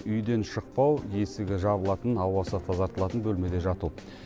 үйден шықпау есігі жабылатын ауасы тазартылатын бөлмеде жату